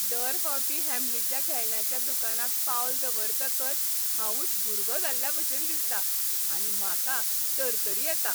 दर फावटी हॅम्लिच्या खेळण्यांच्या दुकानांत पावल दवरतकच हांवच भुरगो जाल्ल्याभशेन दिसता आनी म्हाका तरतरी येता !